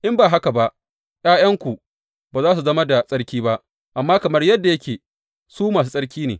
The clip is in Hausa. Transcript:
In ba haka ba ’ya’yanku ba za su zama da tsarki ba, amma kamar yadda yake, su masu tsarki ne.